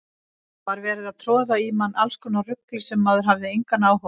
Það var verið að troða í mann allskonar rugli sem maður hafði engan áhuga á.